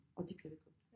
Og det kan vi godt